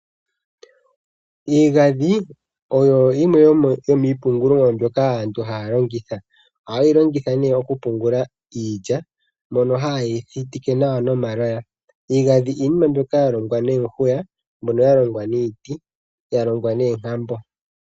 Iigadhi oyo yimwe yomiipungulomwa mbyoka aantu haya longitha ohaye yi longitha ne okupungula iilya mono haye yi thitike nawa nomaloya. Iigadhi iinima mbyoka ya longwa nomihwiya mbyono ya longwa niiti ya longwa noohambo.